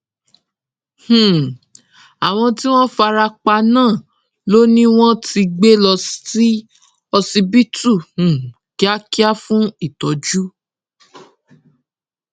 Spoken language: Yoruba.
um àwọn tí wọn fara pa náà lọ ni wọn ti gbé lọ sí ọsibítù um kíákíá fún ìtọjú